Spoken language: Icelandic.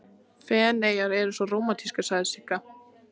Feneyjar eru svo rómantískar, sagði Sigga.